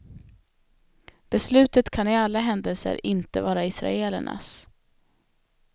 Beslutet kan i alla händelser inte vara israelernas.